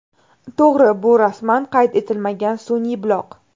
To‘g‘ri, bu rasman qayd etilmagan sun’iy buloq.